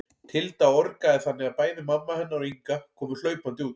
Tilda orgaði þannig að bæði mamma hennar og Inga komu hlaupandi út.